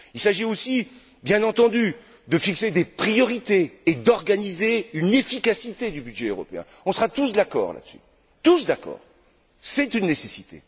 Il s'agit aussi, bien entendu, de fixer des priorités et d'organiser une efficacité du budget européen. On sera tous d'accord sur le fait qu'il s'agit d'une nécessité.